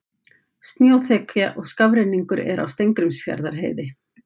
Snjóþekja og skafrenningur er á Steingrímsfjarðarheiði